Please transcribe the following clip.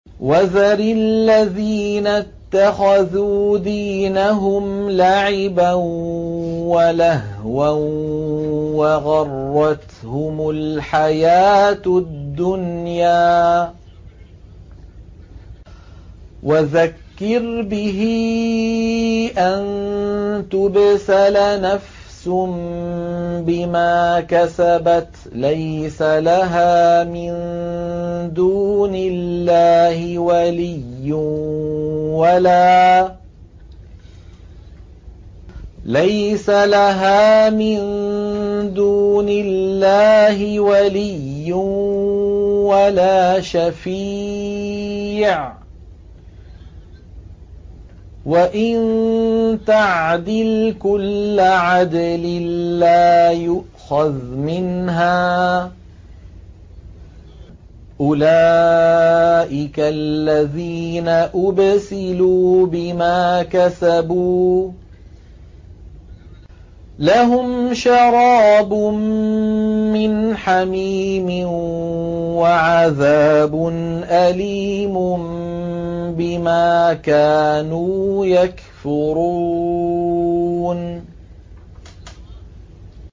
وَذَرِ الَّذِينَ اتَّخَذُوا دِينَهُمْ لَعِبًا وَلَهْوًا وَغَرَّتْهُمُ الْحَيَاةُ الدُّنْيَا ۚ وَذَكِّرْ بِهِ أَن تُبْسَلَ نَفْسٌ بِمَا كَسَبَتْ لَيْسَ لَهَا مِن دُونِ اللَّهِ وَلِيٌّ وَلَا شَفِيعٌ وَإِن تَعْدِلْ كُلَّ عَدْلٍ لَّا يُؤْخَذْ مِنْهَا ۗ أُولَٰئِكَ الَّذِينَ أُبْسِلُوا بِمَا كَسَبُوا ۖ لَهُمْ شَرَابٌ مِّنْ حَمِيمٍ وَعَذَابٌ أَلِيمٌ بِمَا كَانُوا يَكْفُرُونَ